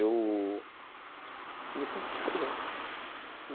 Eu me sinto super bem.